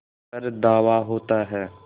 पर धावा होता है